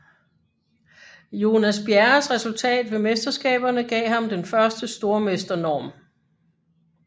Jonas Bjerres resultat ved mesterskaberne gav ham den første stormesternorm